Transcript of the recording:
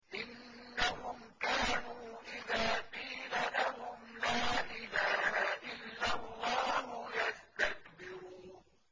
إِنَّهُمْ كَانُوا إِذَا قِيلَ لَهُمْ لَا إِلَٰهَ إِلَّا اللَّهُ يَسْتَكْبِرُونَ